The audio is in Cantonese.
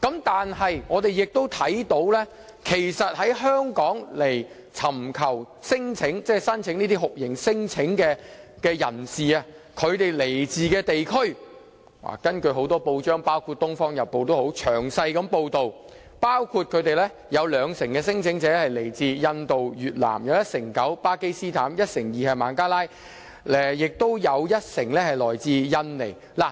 但是，我們亦看到來香港尋求酷刑聲請的人士所來自的地區，根據多份報章，包括《東方日報》等詳細報道，有兩成聲請者來自印度、越南；有一成九來自巴基斯坦；一成二來自孟加拉，亦有一成來自印尼。